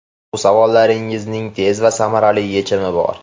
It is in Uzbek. Bu savollaringizning tez va samarali yechimi bor.